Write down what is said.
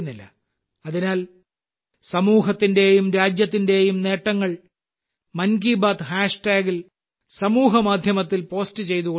അതിനാൽ സമൂഹത്തിന്റെയും രാജ്യത്തിന്റെയും നേട്ടങ്ങൾ മൻ കി ബാത് ഹാഷ്ടാഗിൽ സാമൂഹ്യമാധ്യമത്തിൽ പോസ്റ്റ് ചെയ്തുകൊണ്ടിരിക്കുക